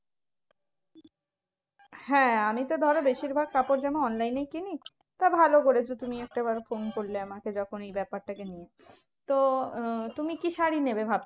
হ্যাঁ আমি তো ধরো বেশিরভাগ কাপড়জামা online এই কিনি তা ভালো করেছো তুমি একটা এবারে ফোন করলে যখন এই ব্যাপারটা কে নিয়ে। তো আহ তুমি কি শাড়ি নেবে ভাবছো?